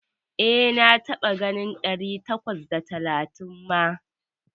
E, na taɓa ganin ɗari takwas da talatin ma.